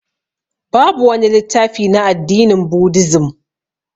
Babu wani littafi na addinin budizim